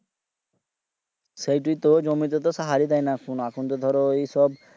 সেইটোয় তো জমিতে তো সাহার দেয় না এখুন তো ধরো ওইসব